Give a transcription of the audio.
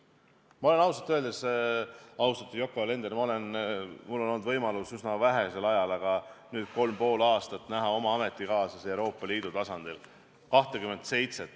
Mul on olen ausalt öeldes, austatud Yoko Alender, olnud võimalus üsna vähesel ajal, aga nüüd juba kolm ja pool aastat näha oma ametikaaslasi Euroopa Liidu tasandil.